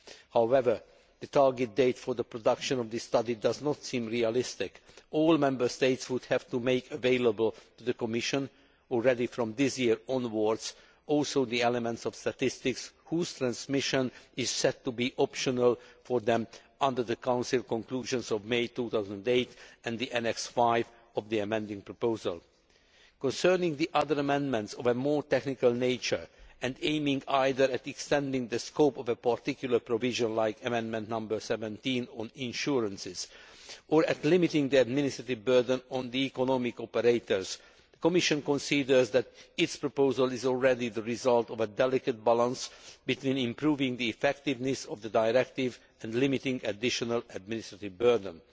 However, the target date for the production of this study does not seem realistic all Member States would also have to make available to the Commission, from this year onwards, the elements of statistics the transmission of which is set to be optional for them under the Council conclusions of May 2008 and Annex V of the amending proposal. Concerning the other amendments of a more technical nature which aim either at extending the scope of a particular provision like Amendment 17 on insurance or at limiting the administrative burden on the economic operators, the Commission considers that its proposal is already the result of a delicate balance between improving the effectiveness of the Directive and limiting an additional administrative burden.